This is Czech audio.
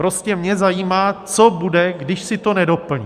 Prostě mě zajímá, co bude, když si to nedoplní.